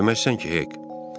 Deməzsən ki, Hek?